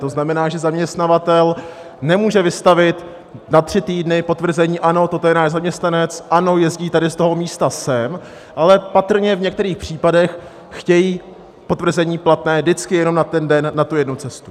To znamená, že zaměstnavatel nemůže vystavit na tři týdny potvrzení: Ano, toto je náš zaměstnanec, ano, jezdí tady z toho místa sem, ale patrně v některých případech chtějí potvrzení platné vždycky jenom na ten den, na tu jednu cestu.